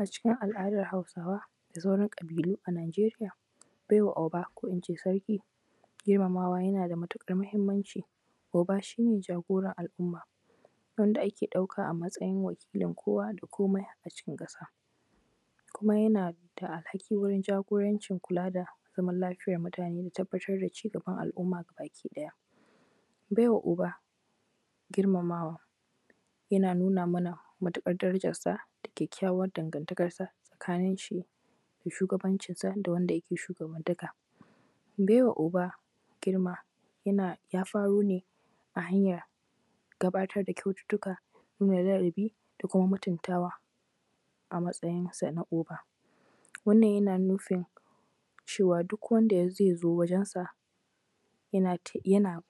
A cikin al’adan Hausawa da sauran ƙabilu a Najeriya, maiwa oba ko kuma in ce sarki girmamawa yana da matuƙar muhimmanci. Oba shi ne jagoran al’umma wanda ake ƙauka a matsayin wakilin kowa da komai a ciki ƙasa. Kuma yana da alhakin jagorancin kula da zaman lafiya na mutane da tabbatar da cigaban al'umma gaba-ki-ɗaya. Baiwa oba girmamawa yana nuna mana matuƙar darajarsa da kyakkyawan dangantakarsa tsakaninshi da shugabancinsa da wanda yake shuabantaka. Baiwa oba girma yana ya faro ne a hanyar gabatar da kyaututtuka da kuma mutuntawa a matsayinsa na oba, wannan yana nufin duk wanda zai zo wurinsa yana yana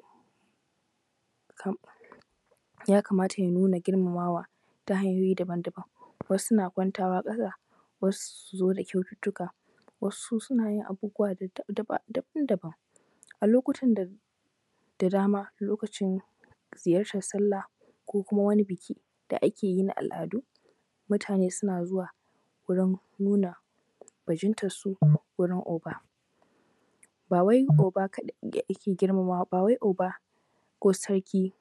yakamata ya nuna girmamawa ta hanyoyi daban-daban, wasu suna kwantawa ƙasa, wasu su zo da kyaututtuka, wasu suna yin abubuwa dai daban-daban. A lokuta da dama a lokacin ziyartar sallah ko kuma buki da ake yin a al’adu mutane suna zuwa wurin nuna bajintansu wurin oba. Ba wai oba kaɗai ne ake girmamawa ba, bai wai oba ko sarrki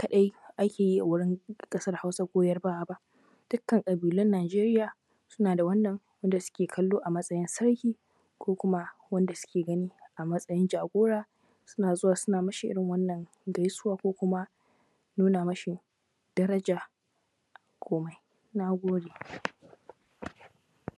kaɗai ake yi wa a ƙasar Hausa ko Yarbawa ba. Dukkan ƙabilun Najeria suna da da wannan da suke kallo a matsayin sarki ko kuma wanda suke gani a matsayin jagora. Suna zuwa suna mashi irin wannan gaisuwa ko kuma nuna masa daraja komai. Na gode.